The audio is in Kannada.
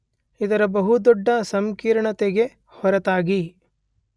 ಇದರ ಬಹು ದೊಡ್ಡ ಸಂಕೀರ್ಣತೆಗೆ ಹೊರತಾಗಿ